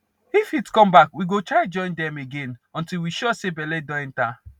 if heat come back we go try to join dem again until we sure say belle don enter